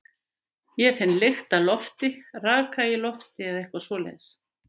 Ég finn lykt af lofti, raka í lofti eða eitthvað svoleiðis.